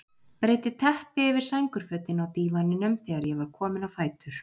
Breiddi teppi yfir sængurfötin á dívaninum þegar ég var kominn á fætur.